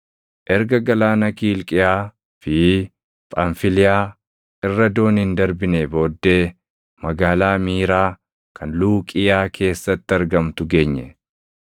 Erga galaana Kiilqiyaa fi Phamfiliyaa irra dooniin darbinee booddee magaalaa Miiraa kan Luuqiiyaa keessatti argamtu geenye.